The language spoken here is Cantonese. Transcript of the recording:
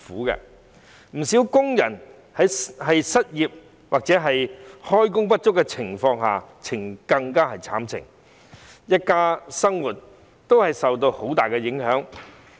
不少工人失業或開工不足，更是淒慘，一家人的生活大受影響。